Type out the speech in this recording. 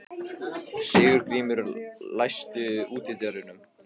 Sigurgrímur, læstu útidyrunum.